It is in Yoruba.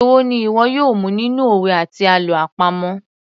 Èwo ni ìwọ yóò mu nínú òwe àti àlọ́ àpamọ̀